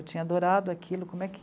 Eu tinha adorado aquilo, como é